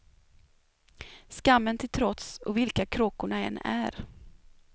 Skammen till trots, och vilka kråkorna än är.